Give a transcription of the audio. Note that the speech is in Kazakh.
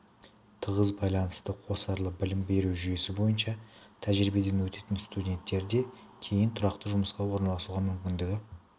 тығыз байланыста қосарлы білім беру жүйесі бойынша тәжірибеден өтетін студенттерде кейін тұрақты жұмысқа орналасуға мүмкіндігі